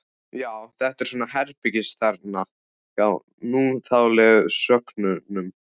Já, þetta er svona herbergisþerna hjá núþálegu sögnunum.